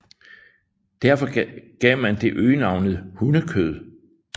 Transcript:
Derfor gav man det øgenavnet hundekød